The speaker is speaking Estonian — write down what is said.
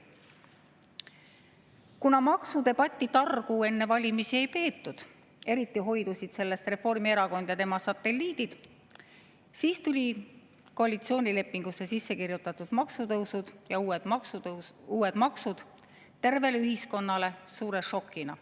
Kuna maksudebatti targu enne valimisi ei peetud – eriti hoidusid sellest Reformierakond ja tema satelliidid –, siis tulid koalitsioonilepingusse sisse kirjutatud maksutõusud ja uued maksud tervele ühiskonnale suure šokina.